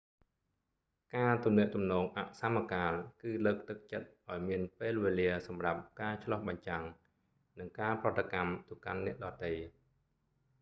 ការទំនាក់ទំនងអសមកាល គឺលើកទឹកចិត្តឲ្យមានពេលវេលាសម្រាប់ការឆ្លុះបញ្ចាំង និងការប្រតិកម្មទៅកាន់អ្នកដ៏ទៃ